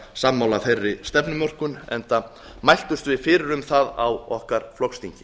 sammála þeirri stefnumörkun enda mæltumst við fyrir um að á okkar flokksþingi